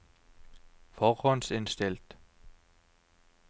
forhåndsinnstilt